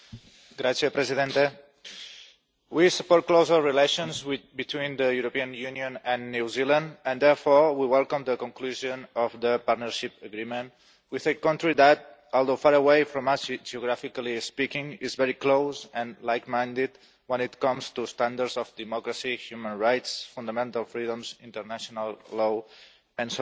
Mr President, we support closer relations between the European Union and New Zealand and therefore we welcome the conclusion of the Partnership Agreement with a country that, although far away from us geographically speaking, is very close and like minded when it comes to standards of democracy, human rights, fundamental freedoms, international law, and so on.